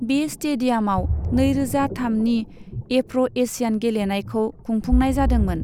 बे स्टेडियामआव नैरोजा थामनि एफ्र' एशियान गेलेनायखौ खुंफुंनाय जादोंमोन।